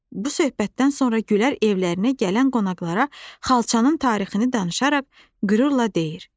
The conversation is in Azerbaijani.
Bu söhbətdən sonra Gülər evlərinə gələn qonaqlara xalçanın tarixini danışaraq qürurla deyir.